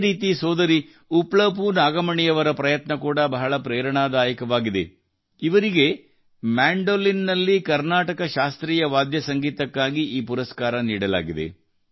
ಅದೇ ರೀತಿ ಸೋದರಿ ಉಪ್ಲಪೂ ನಾಗಮಣಿಯವರ ಪ್ರಯತ್ನ ಕೂಡಾ ಬಹಳ ಪ್ರೇರಣಾದಾಯಕವಾಗಿದೆ ಇವರಿಗೆ ಮ್ಯಾಂಡೋಲಿನ್ ನಲ್ಲಿ ಕರ್ನಾಟಕ ಶಾಸ್ತ್ರೀಯ ವಾದ್ಯ ಸಂಗೀತಕ್ಕಾಗಿ ಈ ಪುರಸ್ಕಾರ ನೀಡಲಾಗಿದೆ